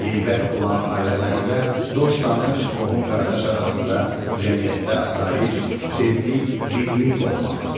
Qeybət olan ailələrdə, dost-tanış, qohum-qardaş arasında cəmiyyətdə asayiş, sevgi, birlik olmaz.